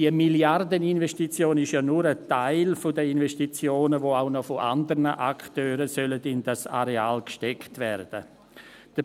Diese Milliardeninvestition ist ja nur ein Teil der Investitionen, die auch von anderen Akteuren noch in das Areal gesteckt werden sollen.